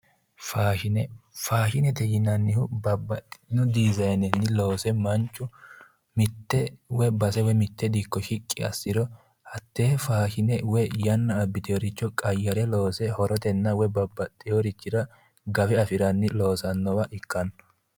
Faashine. Faashinete yinannihu babbaxxitino dizaanenni loose manchu mitte woyi base dikko shiqqi assiro hattee faashine woyi yanna abbitinore qayyare loose horotenna babbaxxeworichira loose gawe afirannoha ikkanno.